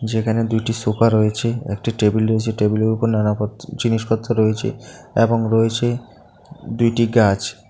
যেখানে দুইটি সোফা রয়েছে একটি টেবিল রয়েছে টেবিল এর ওপর নানা পত জিনিসপত্র রয়েছে এবং রয়েছে দুইটি গাছ।